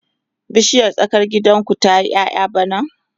bishiyar tsakar gidan ku zata yi ƴaƴa bana?